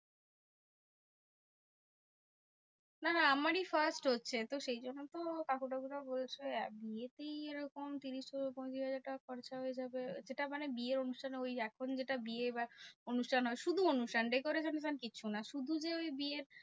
না না আমারই first হচ্ছে। তো সেই জন্য তো কাকু টাকু রাও বলছে বিয়েতেই এরকম ত্রিশ থেকে পঁয়ত্রিশ হাজার টাকা খরচা হয়ে যাবে। সেটা মানে বিয়ের অনুষ্ঠানে ওই এক্ষুনি যেটা বিয়ে বা অনুষ্ঠান হয়। শুধু অনুষ্ঠান decoration কিচ্ছু না শুধু যে ওই বিয়ের